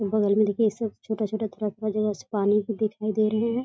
बगल में देखिये ये सब छोटा-छोटा थोरा-थोरा जगह से पानी भी दिखाई दे रहें हैं|